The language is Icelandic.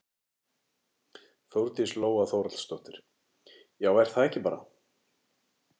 Þórdís Lóa Þórhallsdóttir: Já er það ekki bara?